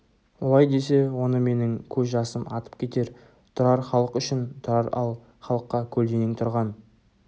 олай десе оны менің көз жасым атып кетер тұрар халық үшін тұрар ал халыққа көлденең тұрған